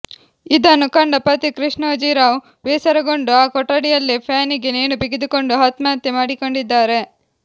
ಇದನ್ನು ಕಂಡ ಪತಿ ಕೃಷ್ಣೋಜಿರಾವ್ ಬೇಸರಗೊಂಡು ಆ ಕೊಠಡಿಯಲ್ಲೇ ಫ್ಯಾನಿಗೆ ನೇಣು ಬಿಗಿದುಕೊಂಡು ಆತ್ಮಹತ್ಯೆ ಮಾಡಿಕೊಂಡಿದ್ದಾರೆ